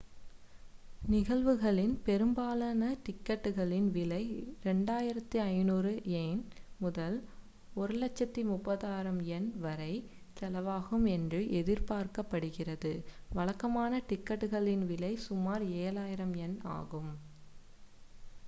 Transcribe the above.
நிகழ்வுகளின் பெரும்பாலான டிக்கெட்டுகளின் விலை 2,500 யென் முதல் 130,000 யென் வரை செலவாகும் என்று எதிர்பார்க்கப்படுகிறது வழக்கமான டிக்கெட்டுகளின் விலை சுமார் 7,000 யென் ஆகும்